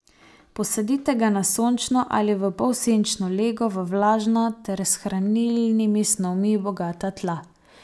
Posadite ga na sončno ali v polsenčno lego v vlažna ter s hranilnimi snovmi bogata tla.